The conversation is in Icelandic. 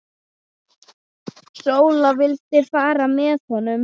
Sóla vildi fara með honum.